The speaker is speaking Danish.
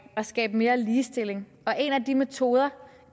skabe mere ligestilling en af de metoder